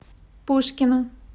пушкино